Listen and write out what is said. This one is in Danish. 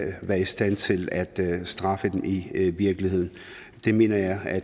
være i stand til at straffe dem i virkeligheden jeg mener at